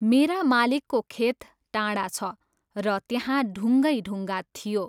मेरा मालिकको खेत टाढा छ, र त्यहाँ ढुङ्गैढुङ्गा थियो।